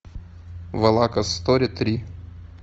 валакас стори три